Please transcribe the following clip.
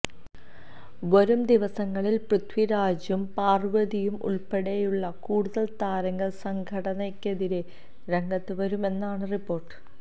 വരും ദിവസങ്ങളില് പൃഥ്വിരാജും പാര്വതിയും ഉള്പ്പെടെയുള്ള കൂടുതല് താരങ്ങള് സംഘടനയ്ക്കെതിരെ രംഗത്ത് വരുമെന്നാണ് റിപ്പോര്ട്ട്